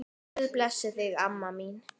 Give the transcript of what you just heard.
Guð blessi þig, amma mín.